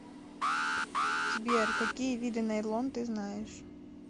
сбер какие виды найлон ты знаешь